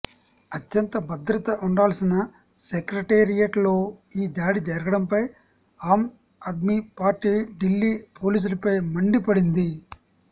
అత్యంత భద్రత ఉండాల్సిన సెక్రటేరియట్లో ఈ దాడి జరగడంపై ఆమ్ ఆద్మీ పార్టీ ఢిల్లీ పోలీసులపై మండి పడింది